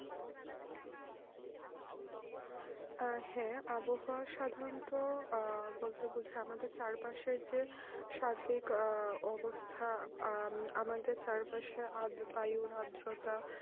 আহ হ্যাঁ আবহাওয়া সাধারণত আহ বলতে বোঝাই আমাদের চার পাশে যে স্বাভাবিক আহ অবস্থায় আহ আমাদের চারপাশে বায়ু আদ্রতা